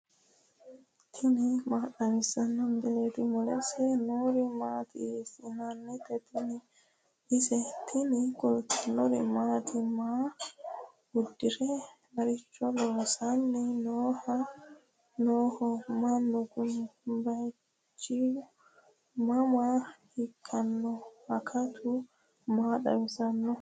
tini maa xawissanno misileeti ? mulese noori maati ? hiissinannite ise ? tini kultannori mattiya? Maa udirre? maricho loosanni nooho mannu Kuni? bayiichchu mama ikkanno? akattu maa xawisanno?